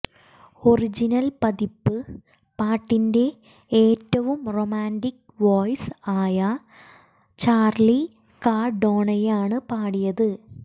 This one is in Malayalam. ഒറിജിനൽ പതിപ്പ് പാട്ടിന്റെ ഏറ്റവും റൊമാൻറിക് വോയിസ് ആയ ചാർലി കാർഡോണയാണ് പാടിയത്